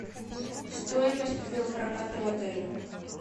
стоимость велопроката в отеле